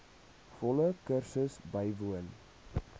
volle kursus bywoon